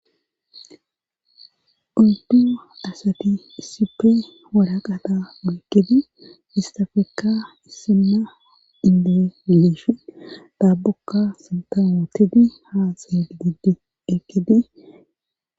Uddu asati issipe walaqata woikkidi istafekka issinna indeleeshi taabukka sintawootidi haa xeel giddi ekidi.